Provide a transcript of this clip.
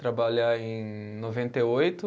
Trabalhar em noventa e oito.